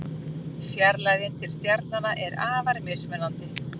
Fjarlægðin til stjarnanna er afar mismunandi.